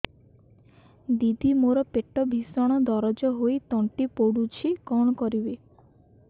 ଦିଦି ମୋର ପେଟ ଭୀଷଣ ଦରଜ ହୋଇ ତଣ୍ଟି ପୋଡୁଛି କଣ କରିବି